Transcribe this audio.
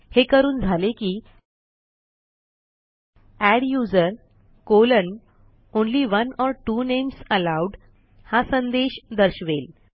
हे करून झाले की adduseronly one or two names allowed हा संदेश दर्शवेल